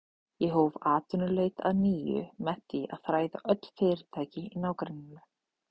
Ég hóf atvinnuleit að nýju með því að þræða öll fyrirtæki í nágrenninu.